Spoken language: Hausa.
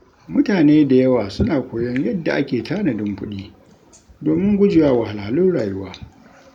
Mutane da yawa suna koyon yadda ake tanadin kuɗi, domin gujewa wahalhalun rayuwa.